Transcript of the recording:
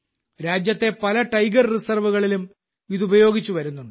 രാജ്യത്തെ പല ടൈഗർ റിസർവുകളിലും ഇത് ഉപയോഗിച്ചുവരുന്നുണ്ട്